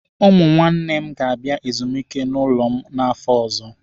Ụmụ nwanne m ga-abịa ezumike n'ụlọ m n'afọ ọzọ.